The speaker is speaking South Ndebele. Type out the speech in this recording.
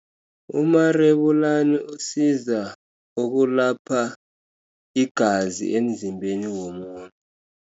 Umarebulani usiza ukulapha igazi emzimbeni womuntu.